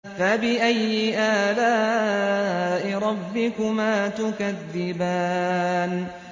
فَبِأَيِّ آلَاءِ رَبِّكُمَا تُكَذِّبَانِ